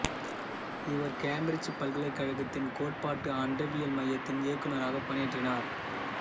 இவர் கேம்பிரிச்சுப் பல்கலைக்கழகத்தின் கோட்பாட்டு அண்டவியல் மையத்தின் இயக்குநராகப் பணியாற்றினார்